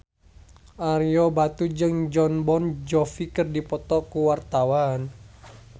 Ario Batu jeung Jon Bon Jovi keur dipoto ku wartawan